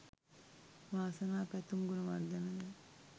වාසනා පැතුම් ගුණවර්ධන ද